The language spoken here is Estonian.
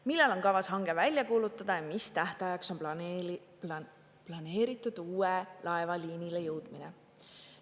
Millal on kavas hange välja kuulutada ja mis tähtajaks on planeeritud uue laeva liinile jõudmine?